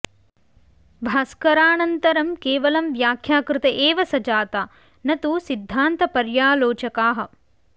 भास्करानन्तरं केवलं व्याख्याकृत एव सजाता न तु सिद्धान्तपर्यालोचकाः